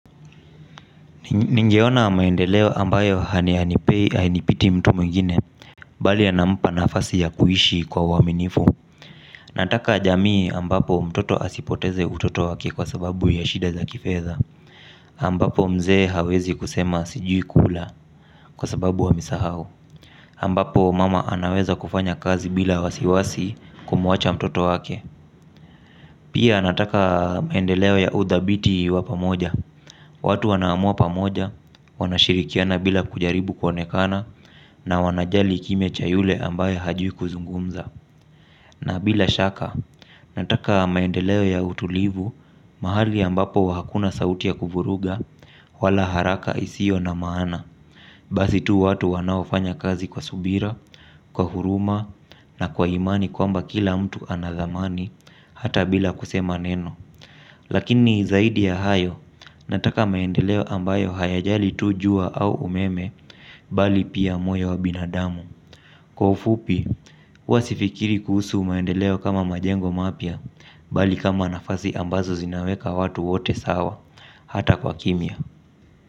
Ningeona maendeleo ambayo hanipei hainipiti mtu mwingine bali anampa nafasi ya kuishi kwa uaminifu. Nataka jamii ambapo mtoto asipoteze utoto wake kwa sababu ya shida za kifedha ambapo mzee hawezi kusema sijui kula kwa sababu amesahau ambapo mama anaweza kufanya kazi bila wasiwasi kumwacha mtoto wake. Pia nataka maendeleo ya udhabiti wa pamoja. Watu wanaamua pamoja, wanashirikiana bila kujaribu kuonekana na wanajali kimya cha yule ambaye hajui kuzungumza. Na bila shaka, nataka maendeleo ya utulivu mahali ambapo hakuna sauti ya kuvuruga wala haraka isio na maana. Basi tu watu wanaofanya kazi kwa subira, kwa huruma na kwa imani kwamba kila mtu ana dhamani hata bila kusema neno. Lakini zaidi ya hayo nataka maendeleo ambayo hayajali tu jua au umeme bali pia moyo wa binadamu. Kwa ufupi, huwa sifikiri kuhusu maendeleo kama majengo mapya bali kama nafasi ambazo zinaweka watu wote sawa hata kwa kimya.